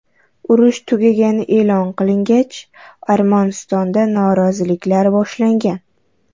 Urush tugagani e’lon qilingach, Armanistonda noroziliklar boshlangan.